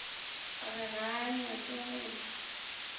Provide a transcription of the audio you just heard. re ga a nyake go